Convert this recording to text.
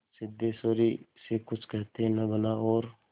सिद्धेश्वरी से कुछ कहते न बना और